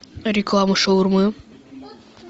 реклама шаурмы